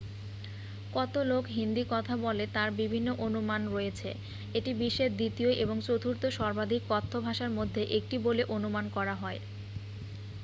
কত লোক হিন্দি কথা বলে তার বিভিন্ন অনুমান রয়েছে এটি বিশ্বের দ্বিতীয় এবং চতুর্থ সর্বাধিক কথ্য ভাষার মধ্যে একটি বলে অনুমান করা হয়